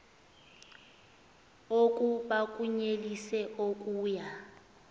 oku bakunyelise okuya